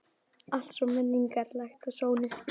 Allt svo menningarlegt og sólin skín.